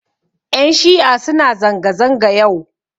Ƴan shi'a suna zanga-zanga yau.